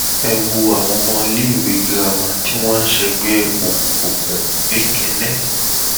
ẹ wo àwọn ọmọléèwé girama tí wọn ń ṣègbè òkùnkùn nikenne